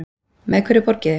Með hverju borgiði?